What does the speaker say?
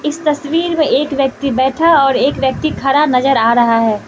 इस तस्वीर में एक व्यक्ति बैठा और एक व्यक्ति खड़ा नजर आ रहा है।